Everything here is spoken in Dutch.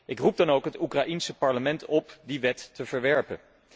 Ik roep dan ook het Oekraïense parlement op die wet te verwerpen.